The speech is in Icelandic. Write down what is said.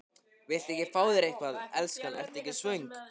Viltu ekki fá þér eitthvað, elskan, ertu ekki svöng?